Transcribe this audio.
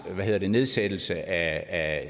nedsættelse af